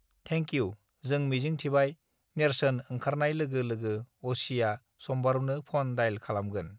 thank you जों मिजिंथिबाय नेर्सोन ओंखारनाय लोगो लोगो अ सि आ सम्बारूनो फन डाइल खालामगोन